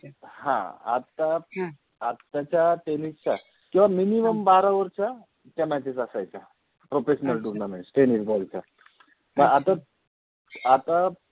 हा आता अत्ताच्या Tenis च्या किवा मिनिमम बारा ओवरच्या त्या माचेस असायच्या professional tournament Tenis बॉलच्या हा आता